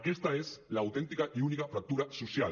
aquesta és l’autèntica i única fractura social